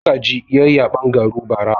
Magaji ya yi yaben garu bara.